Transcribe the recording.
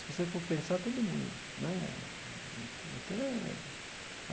Se você for pensar, todo mundo né até.